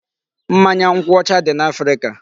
Mmanya nkwụ ọcha dị n'Africa.